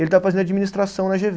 Ele está fazendo administração na Gê Vê